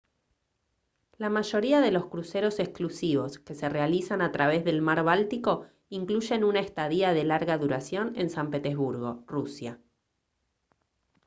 la mayoría de los cruceros exclusivos que se realizan a través del mar báltico incluyen una estadía de larga duración en san petersburgo rusia